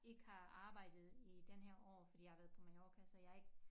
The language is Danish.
Ikke har arbejdet i den her år fordi jeg har været på Mallorca så jeg har ikke